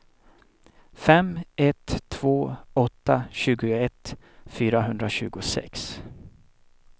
fem ett två åtta tjugoett fyrahundratjugosex